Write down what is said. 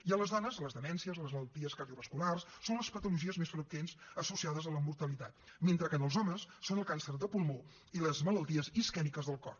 i en les dones les demències les malalties cardiovasculars són les patologies més freqüents associades a la mortalitat mentre que en els homes ho són el càncer de pulmó i les malalties isquèmiques del cor